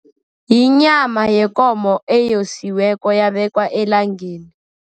Yinyama yekomo eyosiweko, yabekwa elangeni.